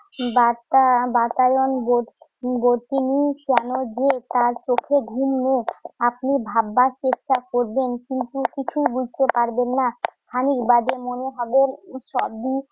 বাতা~ বাতায়ন বোধ বুঝেনি কেন যে তার চোখে ঘুম নেই। আপনি ভাববার চেষ্টা করবেন কিন্তু বুঝতে পারবেন না। খানিক বাদে মনে হবে সবই